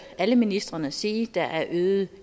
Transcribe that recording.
alle ministrene sige så der er en øget